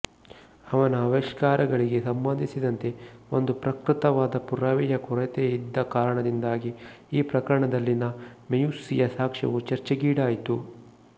ಅವನ ಆವಿಷ್ಕಾರಗಳಿಗೆ ಸಂಬಂಧಿಸಿದಂತೆ ಒಂದು ಪ್ರಕೃತವಾದ ಪುರಾವೆಯ ಕೊರತೆಯಿದ್ದ ಕಾರಣದಿಂದಾಗಿ ಈ ಪ್ರಕರಣದಲ್ಲಿನ ಮೆಯುಸ್ಸಿಯ ಸಾಕ್ಷ್ಯವು ಚರ್ಚೆಗೀಡಾಯಿತು